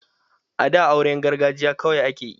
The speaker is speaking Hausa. A da auran gargajiya kawai ake yi